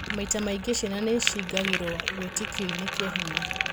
Maita maingĩ ciana nĩ cingagĩro wĩtĩkionĩ kĩa hinya